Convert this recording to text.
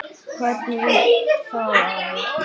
Hvernig veistu það afi?